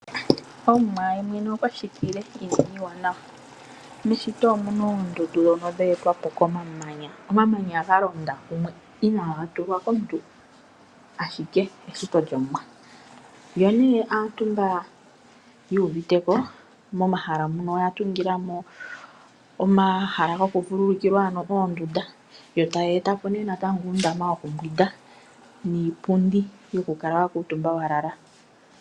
Omuwa ye mwene okwa shitile iinima iiwanawa. Meshito omu na oondundu ndhono dhe etwa komamanya ga londa kumwe inaaga ningwa komuntu, ashike eshito lyolyene. Aantu mboka yu uvite ko, momahala muka oya tunga mo omahala gokuvululukilwa, ano oondunda yo taya tula po ishewe uundama wokumbwinda niipundi yokukala wa lala.